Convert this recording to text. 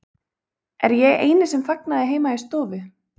Er ég eini sem fagnaði heima í stofu?